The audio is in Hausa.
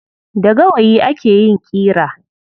Da gawayi ake yin ƙira.